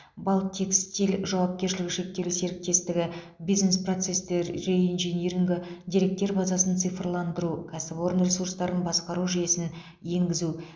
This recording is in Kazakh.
балтекстиль жауапкершлігі шектеулі серіктестігі бизнес процестер реинжинирингі деректер базасын цифрландыру кәсіпорын ресурстарын басқару жүйесін енгізу